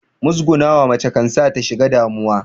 Muzgunawa mace kan sa ta shiga damuwa